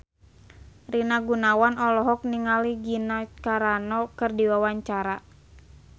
Rina Gunawan olohok ningali Gina Carano keur diwawancara